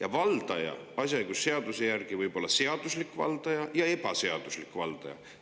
Aga valdaja võib asjaõigusseaduse järgi olla seaduslik valdaja ja ebaseaduslik valdaja.